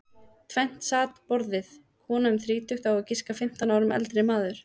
Tvennt sat við borðið, kona um þrítugt og á að giska fimmtán árum eldri maður.